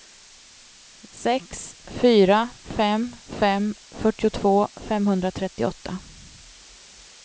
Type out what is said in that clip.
sex fyra fem fem fyrtiotvå femhundratrettioåtta